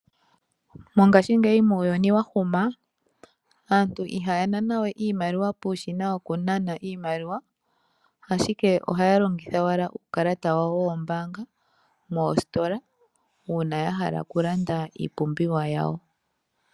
Mongashingeyi muuyuni wa huma, aantu ihaya nana we iimaliwa puushina wokunana iimaliwa, ashike ohaya longitha owala uukalata wawo woombaanga moositola uuna ya hala okulanda iipumbiwa yawo.